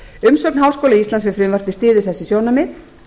umsögn háskóla íslands við frumvarpið styður þessi sjónarmið